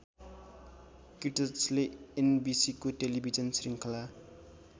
किट्चले एनबिसिको टेलीभिजन शृङ्खला